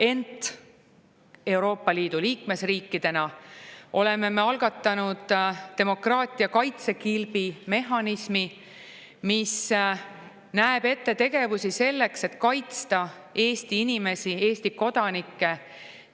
Ent Euroopa Liidu liikmesriigina oleme algatanud demokraatia kaitsekilbi mehhanismi, mis näeb ette tegevusi selleks, et kaitsta Eesti inimesi, Eesti kodanikke